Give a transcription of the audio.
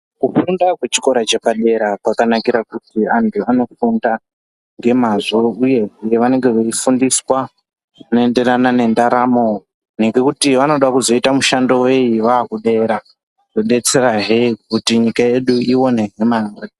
Kufunda kwepa hikora chepadera kwakanakura kuti antu anofunda nemazvo uye hee vanenge veifundiswa zvinoenderana nendaramo ngekuti vanoda kuzoite mushando weyi vave kudera zvinodetsera hee nyika yedu ionezve mare.